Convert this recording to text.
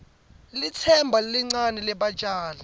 litsemba lelincane lebatjali